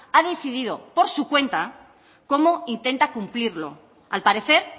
ha decidido por su cuenta cómo intenta cumplirlo al parecer